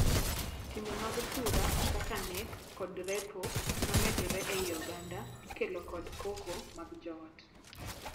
Timbe mag tura, kaka nek kod repo, ma medore ei oganda ikelo kod koko mag joot.